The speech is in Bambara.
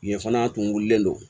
Yen fana a tun wulilen don